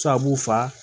Sababu fa